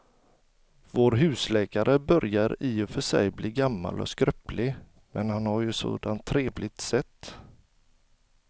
Vår husläkare börjar i och för sig bli gammal och skröplig, men han har ju ett sådant trevligt sätt!